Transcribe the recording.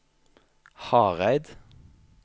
Hareid